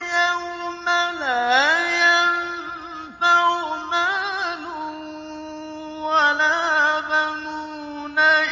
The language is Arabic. يَوْمَ لَا يَنفَعُ مَالٌ وَلَا بَنُونَ